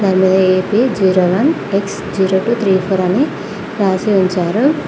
ఇందులో A P zero one X zero two three four అని రాసి ఉంచారు.